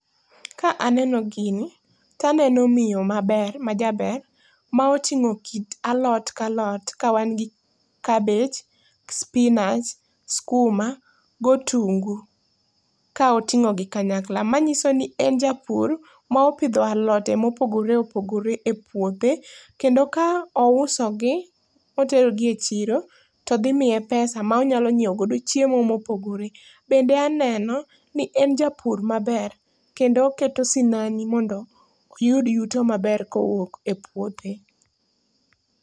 Ka aneno gini to aneno miyo ma ber, majaber ma otingo kit alot ka alot kawan gi cabbage, spinach, skuma gi otungu ka otingo gi kanyakla manyisoni en japur ma opidho alode ma opogore opogore e puothe Kendo ka ouso gi oterogi e chiro to dhi miye pesa monyiew go chiemo ma opogore .Bende aneno ni en japur maber kendo oketo sinani mondo oyud yuto maber kowuok e puothe